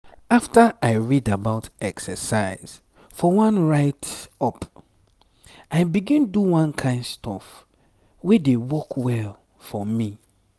after i read about exercise for one write-up i begin do one kind stuff wey dey work well for me.